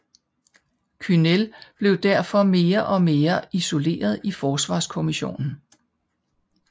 Kühnel blev derfor mere og mere isoleret i Forsvarskommissionen